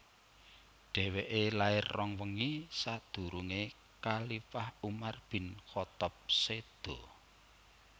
Dhèwèké lair rong wengi sakdurungé khalifah Umar bin Khaththab séda